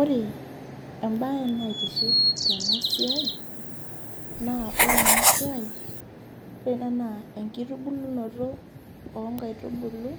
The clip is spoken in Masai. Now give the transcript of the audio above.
Ore ebae naitiship tenasiai, naa ore enasiai, ore ena naa enkitubulunoto onkaitubulu